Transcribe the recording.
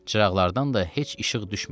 Çıraqlardan da heç işıq düşmür.